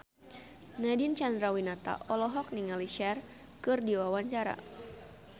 Nadine Chandrawinata olohok ningali Cher keur diwawancara